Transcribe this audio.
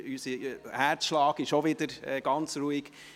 Unser Herzschlag ist auch wieder ganz normal.